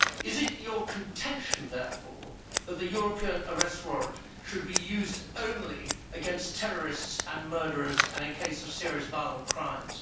Is it your contention therefore that the European Arrest Warrant should be used only against terrorists and murderers and in cases of serious violent crimes?